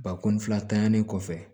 Bakɔni fila tanɲani kɔfɛ